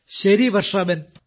ശരി വർഷാബെൻ